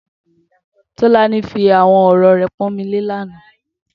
Tolani fi awọn ọrọ rẹ pọnmilé làná